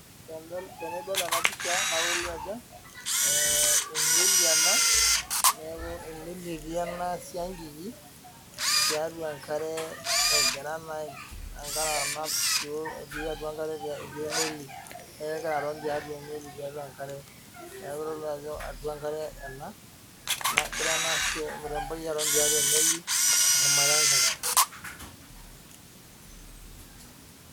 Tenidol ena pisha naa kitodolu Ajo emeli en neeku emeli etii ena siankiki tiatua enkare egira naa enkare anap etii atua enkare neeku egira aton tee meli tiatua enkare neeku kitodolu Ajo enkare ena negira ena mremboi aton tiatua emeli teshumata enkare